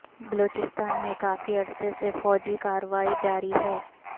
بلوچستان میں کافی عرصے سے فوجی کارروائی جاری ہے